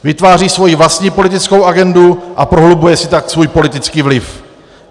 Vytváří svoji vlastní politickou agendu a prohlubuje si tak svůj politický vliv.